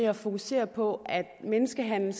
at fokusere på at menneskehandel